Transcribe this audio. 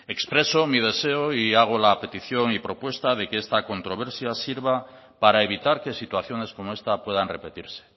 expreso mi deseo y hago la petición y propuesta de que esta controversia sirva para evitar que situaciones como esta puedan repetirse